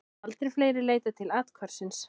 Aldrei fleiri leitað til athvarfsins